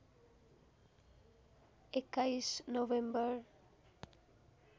२१ November